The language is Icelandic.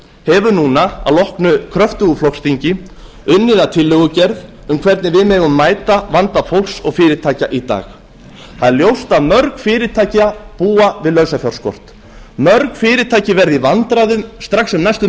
hefur núna að loknu kröftugu flokksþingi unnið að tillögugerð um hvernig við megum mæta vanda fólks og fyrirtækja í dag það er ljóst að mörg fyrirtæki búa við lausafjárskort mörg fyrirtæki verða í vandræðum strax um næstu